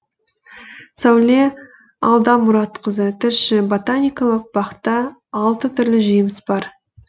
сәуле алдамұратқызы тілші ботаникалық бақта алты түрлі жеміс бар